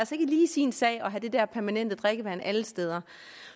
lige sin sag at have det der permanente drikkevand alle steder